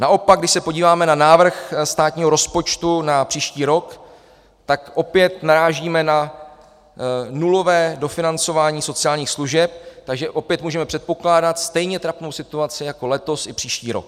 Naopak, když se podíváme na návrh státního rozpočtu na příští rok, tak opět narážíme na nulové dofinancování sociálních služeb, takže opět můžeme předpokládat stejně trapnou situaci jako letos i příští rok.